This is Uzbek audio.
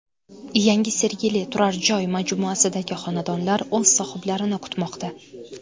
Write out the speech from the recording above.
Yangi Sergeli turar joy majmuasidagi xonadonlar o‘z sohiblarini kutmoqda.